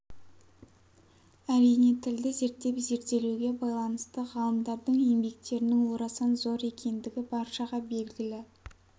әрине тілді зерттеп зерделеуге байланысты ғалымдардың еңбектерінің орасан зор екендігі баршаға белгілі